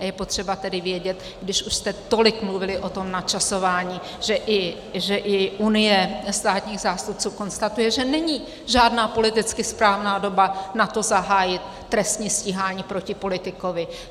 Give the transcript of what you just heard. A je potřeba tedy vědět, když už jste tolik mluvili o tom načasování, že i Unie státních zástupců konstatuje, že není žádná politicky správná doba na to zahájit trestní stíhání proti politikovi.